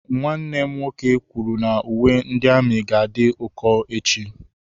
Nwanne m nwoke kwuru na uwe ndị amị ga-adị ụkọ echi.